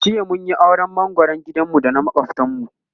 jiya mun Yi auran mangoran gidan mu da na makwaftan mu